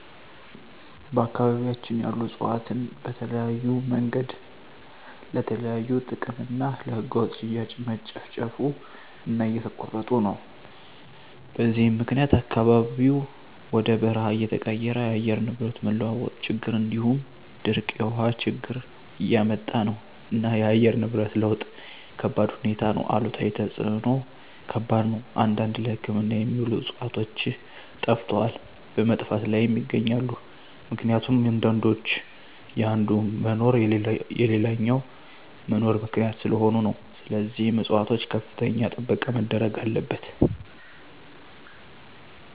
በአካባቢያቸን ያሉ እፅዋትን በተለያዮ መንገድ ለተለያዩ ጥቅም እና ለህገወጥ ሽያጭ መጨፍጨፉ እና እየተቆረጡ ነው በዚህም ምክኒያት አካባቢው ወደ በርሃ እየተቀየረ የአየር ንብረት መለዋወጥ ችግር እንዲሁም ድርቅ የውሀ ችግር እያመጣ ነው እና የአየር ንብረት ለውጥ ከባድሁኔታ ነው አሉታዊ ተፅዕኖው ከባድ ነው አንዳንድ ለህክምና የሚውሉ ዕፅዋቶች ጠፈተዋል በመጥፋት ላይም ይገኛሉ ምክኒቱም አንዳንዶች የአንዱ መኖር ለሌላኛው መኖር ምክኒያት ሰለሆኑ ነው ስለዚህም ፅፅዋቶች ከፍተኛ ጥበቃ መደረግ አለበት።